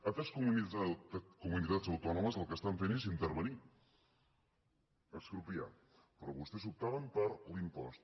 altres comunitats autònomes el que estan fent és intervenir expropiar però vostès optaven per l’impost